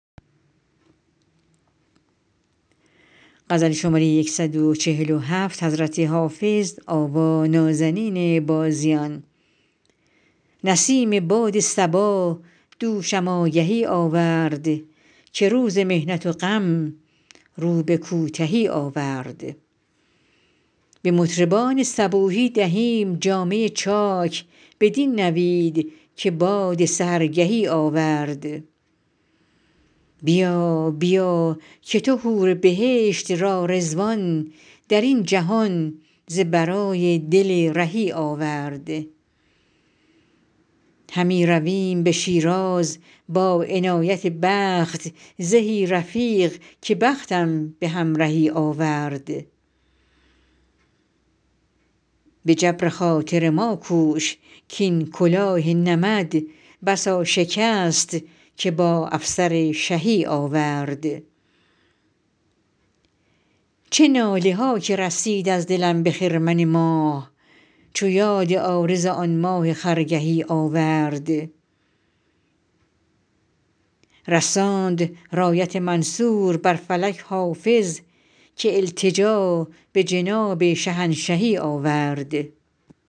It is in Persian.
برید باد صبا دوشم آگهی آورد که روز محنت و غم رو به کوتهی آورد به مطربان صبوحی دهیم جامه چاک بدین نوید که باد سحرگهی آورد بیا بیا که تو حور بهشت را رضوان در این جهان ز برای دل رهی آورد همی رویم به شیراز با عنایت دوست زهی رفیق که بختم به همرهی آورد به جبر خاطر ما کوش کـ این کلاه نمد بسا شکست که با افسر شهی آورد چه ناله ها که رسید از دلم به خرمن ماه چو یاد عارض آن ماه خرگهی آورد رساند رایت منصور بر فلک حافظ که التجا به جناب شهنشهی آورد